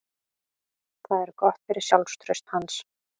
Það er gott fyrir sjálfstraust hans.